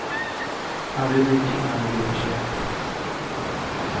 Han ville dyka innan det blev för sent.